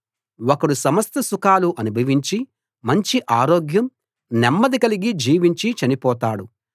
ఒకడు సమస్త సుఖాలు అనుభవించి మంచి ఆరోగ్యం నెమ్మది కలిగి జీవించి చనిపోతాడు